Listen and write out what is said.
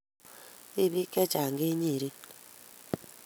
Tibik chechang kenyeren